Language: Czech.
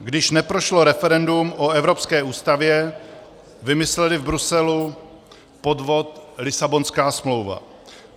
Když neprošlo referendum o Evropské ústavě, vymysleli v Bruselu podvod Lisabonská smlouva.